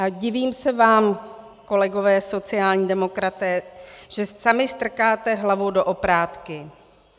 A divím se vám, kolegové sociální demokraté, že sami strkáte hlavu do oprátky.